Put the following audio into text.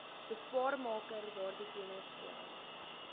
beswaarmaker daardie kennisgewing